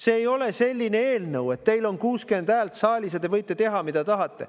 See ei ole selline eelnõu, millega te võite teha, mida tahate, sest teil on 60 häält saalis.